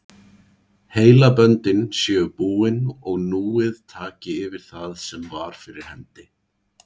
Heilaböndin séu búin og núið taki yfir það sem var fyrir hendi.